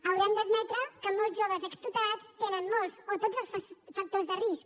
haurem d’admetre que molts joves extutelats tenen molts o tots els factors de risc